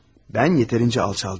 Mən yetərincə alçaldım.